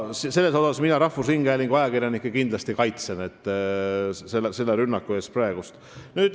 Selle rünnaku eest mina rahvusringhäälingu ajakirjanikke kindlasti kaitsen.